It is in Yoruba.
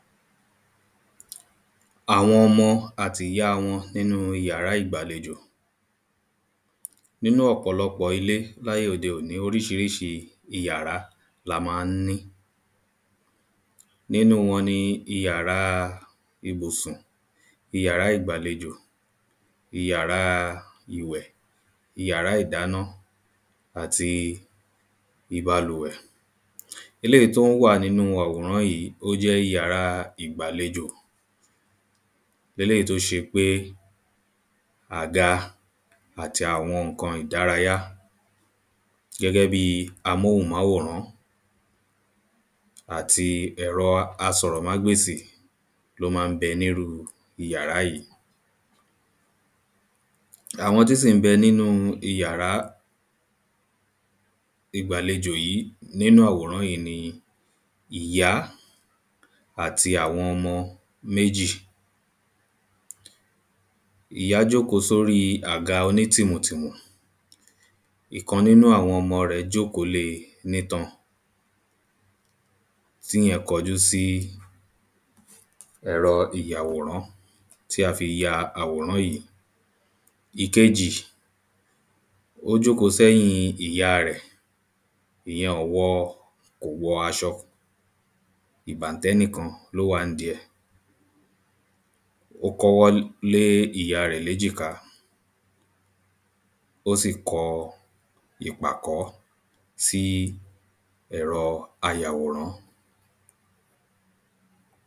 Àwọn ọmọ àtìyá wọn nínú yàrá ìgbàlejò. Nínú ọ̀pọ̀lọpọ̀ ilé láyé òde òní oríṣiríṣi ìyàɹá la má ń ní. Nínú wọn ni ìyàrá ibùsùn ìyàrá ìgbàlejò ìyàrá ìyàrá ìdáná àti ìbalùwẹ̀. Eléèyí tó wà nínú àwòrán yìí ó jẹ́ ìyàrá ìgbàlejò eléèyí tó ṣe pé àga àti àwọn nǹkan ìdárayá gẹ́gẹ́ bí amóhùnmáwòrán àti ẹ̀rọ asọ̀rọ̀ mágbèsì ló má ń bẹ nínú ìyàrá yìí. Àwọn tí sì ń bẹ nínú ìyàrá ìgbàlejò yìí nínú àwòrán yìí ni ìyá àti àwọn ọmọ méjì. Ìyá jóòkó lórí àga onítìmùtìmù ìkan nínú àwọn ọmọ rẹ̀ jóòkó lé nítan tíyẹn kọjú sí ẹ̀rọ ìyàwòrán tí a fi ya àwòrán yìí. Ìkejì ó jóòkó sẹ́yìn ìyá rẹ̀ ìyẹn ò wọ kò wọ aṣọ ìbàntẹ́ nìkan lówà ǹdí ẹ̀ ó kọ́wọ́ lé ìyá rẹ̀ léjìká ó sì kọ ìpàkọ́ sí ẹ̀rọ ayàwòrán.